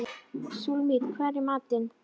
Súlamít, hvað er í matinn?